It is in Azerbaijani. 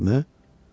Möhürümü?